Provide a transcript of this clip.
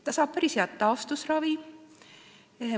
Ta saab päris head taastusravi.